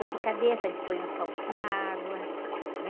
Dor de cabeça, a gente punha um copo com água, né?